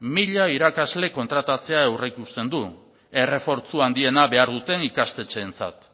mila irakasle kontratatzea aurreikusten du errefortzu handiena behar duten ikastetxeentzat